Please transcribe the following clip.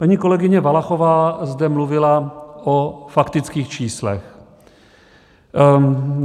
Paní kolegyně Valachová zde mluvila o faktických číslech.